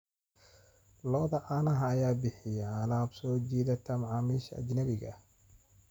Lo'da caanaha ayaa bixiya alaab soo jiidata macaamiisha ajnabiga ah.